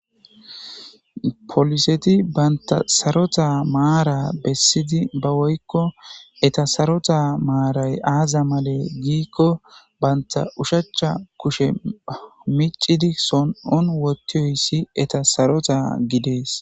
Poliseti banta sarota mara besidi woykoneta Saro Mara aza male giko banta oshacha kushiya michidi so'on wothiyayisi hesi eta sarota gides